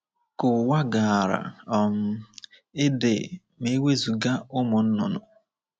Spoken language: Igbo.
Ka ụwa gaara um idị ma e wezụga ụmụ nnụnụ!